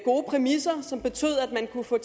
gode præmisser som betød at man kunne få